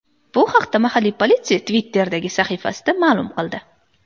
Bu haqda mahalliy politsiya Twitter’dagi sahifasida ma’lum qildi .